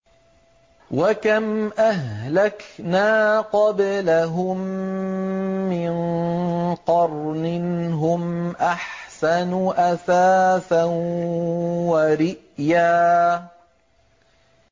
وَكَمْ أَهْلَكْنَا قَبْلَهُم مِّن قَرْنٍ هُمْ أَحْسَنُ أَثَاثًا وَرِئْيًا